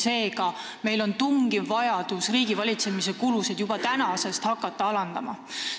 Seega on meil tungiv vajadus hakata juba tänasest riigivalitsemise kulusid alandama.